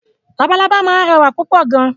Lalalábá máa ń rẹwà púpọ̀ gan.